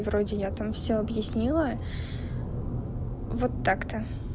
вроде я там все объяснила вот так-то